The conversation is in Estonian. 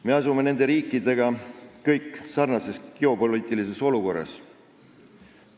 Me oleme nende riikidega sarnases geopoliitilises olukorras.